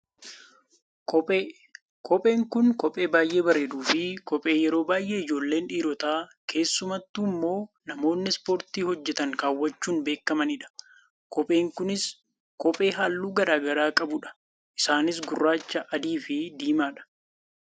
Kophee, kopheen kun kophee baayyee bareeddu fi kophee yeroo baayyee ijoolleen dhiirotaa keessumattuummoo namoonni ispoortii hojjatan kaawwachuun beekkamanidha. Kopheen kunis kophee haalluu gara garaa qabudha. Isaanis gurraacha, adiifi diimaa dha.